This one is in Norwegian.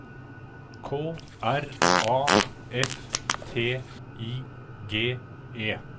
K R A F T I G E